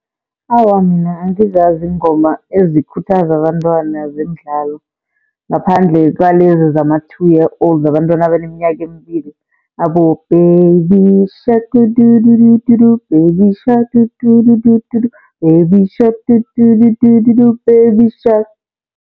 Awa, mina angizazi iingoma ezikhuthaza abantwana zemidlalo ngaphandle kwalezi zama-two years old, zabantwana abaneminyaka emibili. Abo, baby shark do do do do do do baby shark do do do do do do baby shark do do do do do do baby shark.